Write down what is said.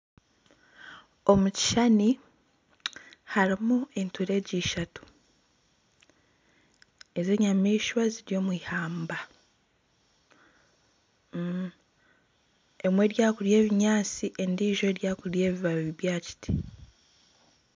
Omu kishushani harimu enturegye ishatu ezi enyamaishwa ziri omwihamba emwe eri aha kurya ebinyaatsi endijo eriyo nerya ebibaabi bya aha kiti.